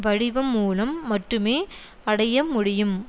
வடிவம் மூலம் மட்டுமே அடைய முடியம்